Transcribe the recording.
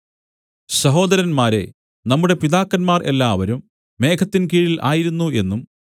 സഹോദരന്മാരേ നമ്മുടെ പിതാക്കന്മാർ എല്ലാവരും മേഘത്തിൻകീഴിൽ ആയിരുന്നു എന്നും